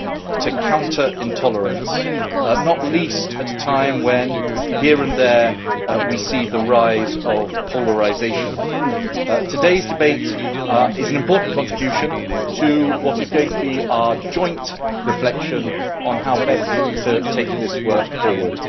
and to counter intolerance, not least at a time when, here and there, we see the rise of polarisation. Today's debate is an important contribution to what is going to be our joint reflection on how best to take this work forward.